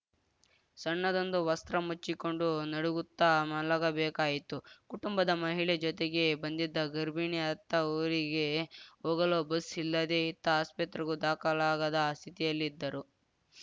ಸಣ್ಣದೊಂದು ವಸ್ತ್ರ ಮುಚ್ಚಿಕೊಂಡು ನಡುಗುತ್ತಾ ಮಲಗಬೇಕಾಯಿತು ಕುಟುಂಬದ ಮಹಿಳೆ ಜೊತೆಗೆ ಬಂದಿದ್ದ ಗರ್ಭಿಣಿ ಅತ್ತ ಊರಿಗೆ ಹೋಗಲು ಬಸ್‌ ಇಲ್ಲದೇ ಇತ್ತ ಆಸ್ಪತ್ರೆಗೂ ದಾಖಲಾಗದ ಸ್ಥಿತಿಯಲ್ಲಿದ್ದರು